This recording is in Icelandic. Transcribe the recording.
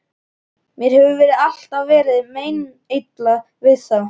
Mér hefur alltaf verið meinilla við þá.